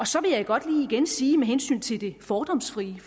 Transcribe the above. så vil jeg godt lige igen sige med hensyn til det fordomsfrie at